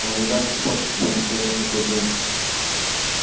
она не даст испортить себе настроение в такой день